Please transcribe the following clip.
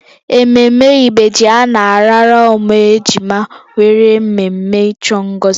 Ememme ibeji a na-arara ụmụ ejima nwere mmemme ịchọ ngozi